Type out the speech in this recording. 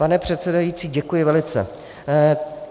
Pane předsedající, děkuji velice.